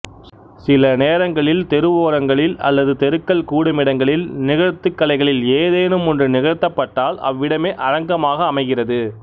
சில நேரங்களில் தெருவோரங்களில் அல்லது தெருக்கள் கூடுமிடங்களில் நிகழ்த்து கலைகளில் ஏதேனுமொன்று நிகழ்த்தப்பட்டால் அவ்விடமே அரங்கமாக அமைகிறது